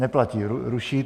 Neplatí, ruší.